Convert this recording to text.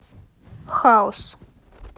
хаос